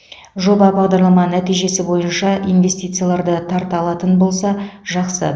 жоба бағдарлама нәтижесі бойынша инвестицияларды тарта алатын болса жақсы